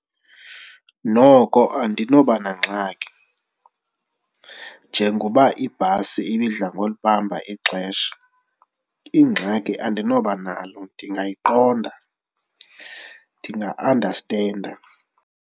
Noko andinobanangxaki njengoba ibhasi ibidla ngolibamba ixesha, ingxaki andinobanalo ndingayiqonda, ndinga-andastenda.